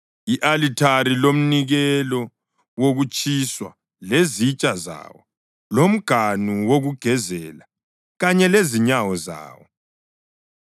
i-alithari lomnikelo wokutshiswa lezitsha zawo lomganu wokugezela kanye lezinyawo zawo.